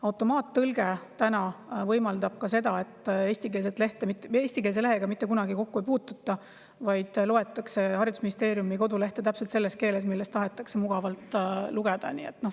Automaattõlge võimaldab ka seda, et eestikeelse lehega mitte kunagi kokku ei puututa, vaid loetakse haridusministeeriumi kodulehte mugavalt täpselt selles keeles, milles tahetakse lugeda.